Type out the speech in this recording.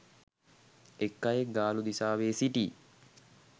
එක් අයෙක් ගාලු දිසාවේ සිටි